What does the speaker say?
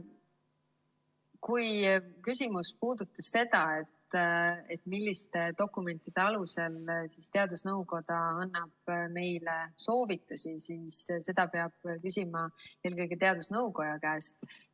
Kui küsimus puudutas seda, milliste dokumentide alusel teadusnõukoda annab meile soovitusi, siis seda peab küsima eelkõige teadusnõukoja käest.